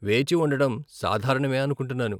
వేచి ఉండడం సాధారణమే అనుకుంటున్నాను .